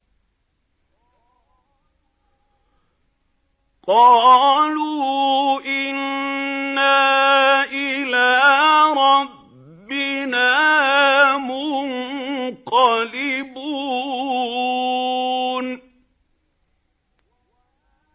قَالُوا إِنَّا إِلَىٰ رَبِّنَا مُنقَلِبُونَ